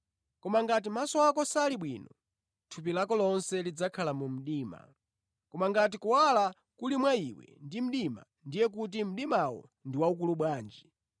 Koma ngati maso ako sali bwino, thupi lako lonse lidzakhala mu mdima. Koma ngati kuwala kuli mwa iwe ndi mdima, ndiye kuti mdimawo ndi waukulu bwanji!